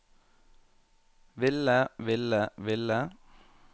ville ville ville